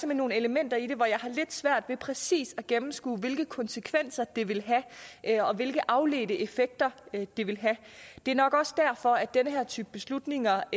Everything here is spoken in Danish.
nogle elementer i det hvor jeg har lidt svært ved præcis at gennemskue hvilke konsekvenser de vil have og hvilke afledte effekter de vil have det er nok også derfor den her type beslutninger